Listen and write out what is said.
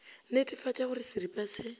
netefatša go re seripa se